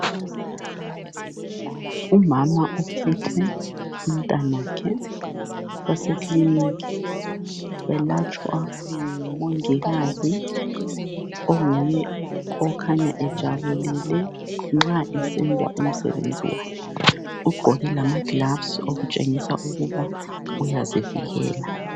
Umama uphethe umntanakhe basekilikhi belatshwa ngumongikazi onguye okakhanya ejabulile nxa esenza umsebenzi wakhe ugqoke lama glavisi okutshengisa ukuba uyazivikela.